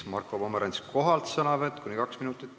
Marko Pomerantsi sõnavõtt kohalt kuni kaks minutit.